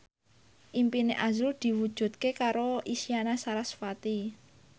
impine azrul diwujudke karo Isyana Sarasvati